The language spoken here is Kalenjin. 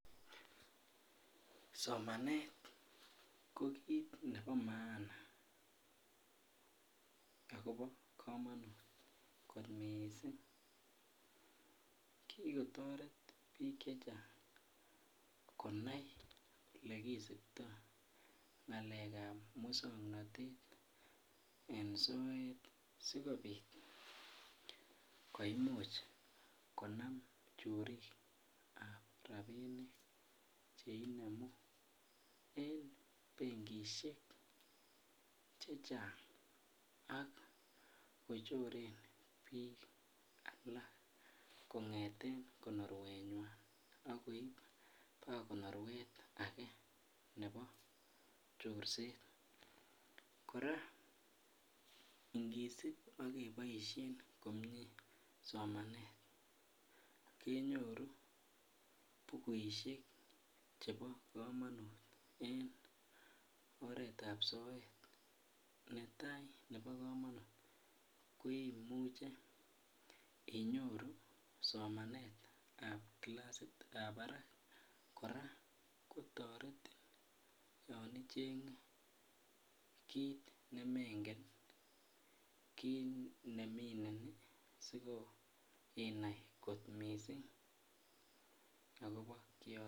Somanet ko kit nebo maana ago bo kamanut mising. Kikotoret biik che chang konai olekisipto ngalekab mosongnatet en soet sigopit komuch konam chorikab rapinik che inemu en benkisiek che chang ak kochorenbiik alak. Kongeten konoruenywan ak koip konoruet age nebo chorset. Kora ingisip ak keboisien komie somanet kenyoru bukuisiek chebo kamanut en oretab soet. Netai nebo kamanut koimuche inyoru somanetab kilasitab barak. Korakotoretin yon ichenge kit ne mengen kit nemineni siko, innai kot missing agobo kioto.